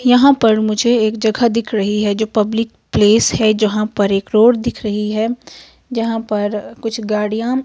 यहां पर मुझे एक जगह दिख रही है जो पब्लिक प्लेस है जहां पर एक रोड दिख रही है जहां पर कुछ गाड़ियां--